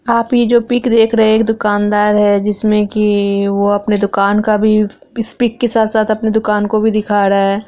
आप ये जो पिक रहे है। एक दुकानदार है जिसमे कि वो अपने दुकान का भी इस पिक के साथ-साथ अपने दुकान को भी दिखा रहा है।